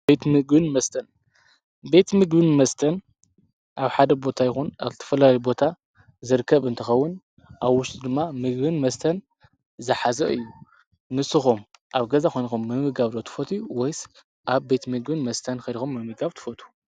ቤት ምግብን መስተን-ቤት ምግብን መስተን ኣብ ሓደ ቦታ ይኹን ኣብ ዝተፈላለዩ ቦታ ዝርከብ እንትኸውን ኣብ ውሽጡ ድማ ምግብን መስተን ዝሓዘ እዩ፡፡ ንስኹም ኣብ ገዛ ኮይንኩም ምምጋብ ዶ ትፈትዉ ወይስ ኣብ ቤት ምግብን መስተን ከይድኩም ምምጋብ ትፈትዉ?